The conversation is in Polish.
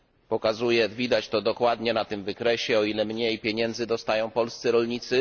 Pokazuję widać to dokładnie na tym wykresie, o ile mniej pieniędzy dostają polscy rolnicy.